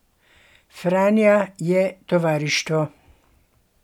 Franja je tovarištvo.